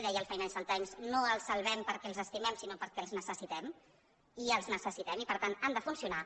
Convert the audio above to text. deia el financial timessalvem perquè els estimem sinó perquè els necessi·tem i els necessitem i per tant han de funcionar